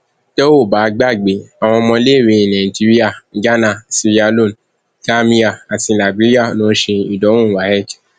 tẹ ò bá gbàgbé àwọn ọmọléèwé nàìjíríà ghana sierra leone gàmíà àti liberia ló ń ṣe ìdánwò wafc